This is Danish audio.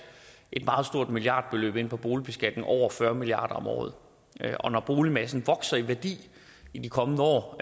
et meget stort milliardbeløb ind på boligbeskatning over fyrre milliard kroner om året og når boligmassen vokser i værdi i de kommende år